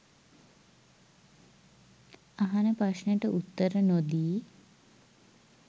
අහන ප්‍රශ්නෙට උත්තර නොදී